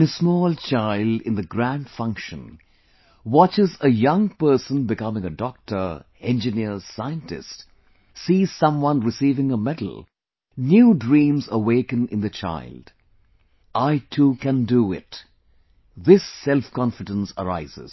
When a small child in the grand function watches a young person becoming a Doctor, Engineer, Scientist, sees someone receiving a medal, new dreams awaken in the child 'I too can do it', this self confidence arises